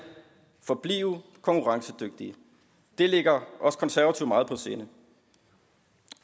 forblive konkurrencedygtige det ligger os konservative meget på sinde